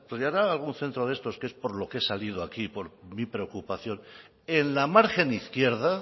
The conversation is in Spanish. desarrollará algún centro de estos que es por lo que he salido aquí por mi preocupación en la margen izquierda